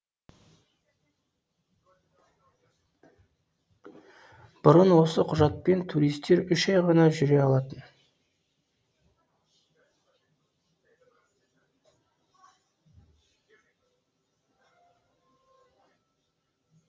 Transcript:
бұрын осы құжатпен туристер үш ай ғана жүре алатын